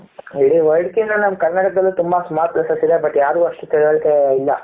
ಇಡೀ world ಕಿನ್ನ ನಮ್ಮ ಕನ್ನಡದಲ್ಲಿ ತುಂಬಾ small places ಇದೆ but ಯಾರಿಗೂ ಅಷ್ಟು ತಿಳುವಳಿಕೆ ಇಲ್ಲ.